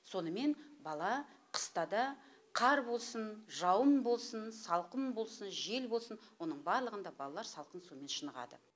сонымен бала қыста да қар болсын жауын болсын салқын болсын жел болсын оның барлығында балалар салқын сумен шынығады